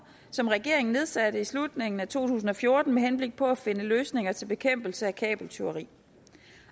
som regeringen nedsatte i slutningen af to tusind og fjorten med henblik på at finde løsninger til bekæmpelse af kabeltyveri